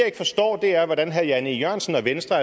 ikke forstår er hvordan herre jan e jørgensen og venstre